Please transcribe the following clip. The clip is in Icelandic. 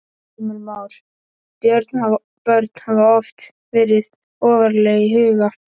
Heimir Már: Börn hafa oft verið ofarlega í huga?